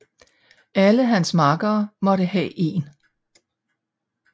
Alle hans makkere måtte have én